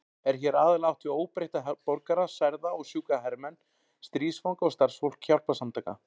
Er hér aðallega átt við óbreytta borgara, særða og sjúka hermenn, stríðsfanga og starfsfólk hjálparsamtaka.